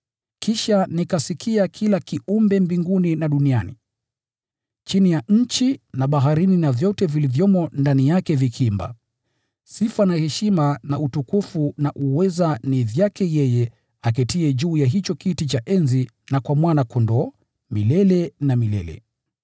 Kisha nikasikia kila kiumbe mbinguni na duniani, chini ya nchi na baharini na vyote vilivyomo ndani yake vikiimba: “Sifa na heshima na utukufu na uweza ni vyake yeye aketiye juu ya hicho kiti cha enzi na kwa Mwana-Kondoo, milele na milele!”